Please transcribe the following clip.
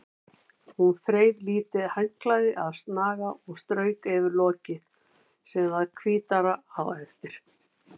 Hún þreif lítið handklæði af snaga og strauk yfir lokið sem varð hvítara á eftir.